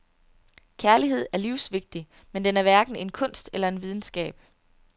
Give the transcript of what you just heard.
Kærlighed er livsvigtig, men den er hverken en kunst eller en videnskab.